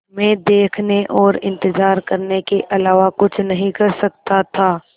मैं देखने और इन्तज़ार करने के अलावा कुछ नहीं कर सकता था